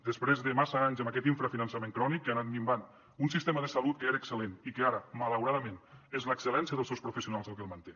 després de massa anys amb aquest infrafinançament crònic que ha anat minvant un sistema de salut que era excel·lent i que ara malauradament és l’excel·lència dels seus professionals el que el manté